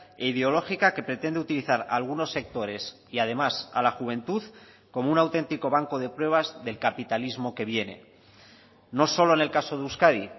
e ideológica que pretende utilizar a algunos sectores y además a la juventud como un auténtico banco de pruebas del capitalismo que viene no solo en el caso de euskadi